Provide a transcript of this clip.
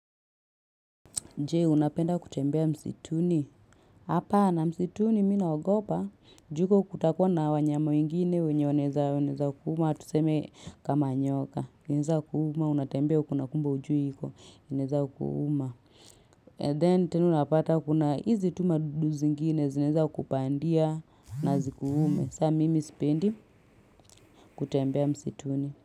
Je, unapenda kutembea msituni. Hapana msituni mimi naogopa, juu huko kutakuwa na wanyama wengine wenye wanaeza wanaeza kuuma. Tuseme kama nyoka. Zinaeza kuuma, unatembea huko na kumbe hujui iko. Inaeza kuuma. Then, tena unapata kuna hizi tu madudu zingine. Zinaeza kupandia na zikuume. Saa, mimi sipendi kutembea msituni.